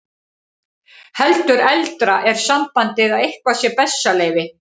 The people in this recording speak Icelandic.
Heldur eldra er sambandið að eitthvað sé bessaleyfi.